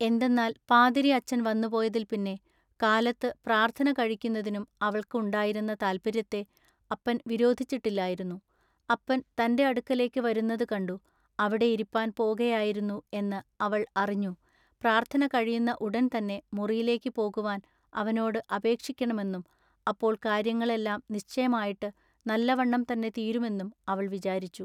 എന്തെന്നാൽ പാതിരി അച്ചൻ വന്നുപോയതിൽ പിന്നെ കാലത്തു പ്രാൎത്ഥന കഴിക്കുന്നതിനും അവൾക്കു ഉണ്ടായിരുന്ന താല്പൎയ്യത്തെ അപ്പൻ വിരോധിച്ചിട്ടില്ലായിരുന്നു അപ്പൻ തന്റെ അടുക്കലേക്കു വരുന്നതു കണ്ടു അവിടെ ഇരിപ്പാൻ പോകയായിരുന്നു എന്ന അവൾ അറിഞ്ഞു പ്രാൎത്ഥന കഴിയുന്ന ഉടൻ തന്നെ മുറിയിലേക്കു പോകുവാനു അവനോടു അപേക്ഷിക്കേണമെന്നും അപ്പോൾ കാൎയ്യങ്ങൾ എല്ലാം നിശ്ചയമായിട്ടു നല്ലവണ്ണം തന്നെ തീരുമെന്നും അവൾ വിചാരിച്ചു.